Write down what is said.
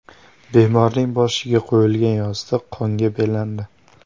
Bemorning boshiga qo‘yilgan yostiq qonga belandi.